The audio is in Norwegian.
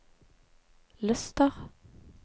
Luster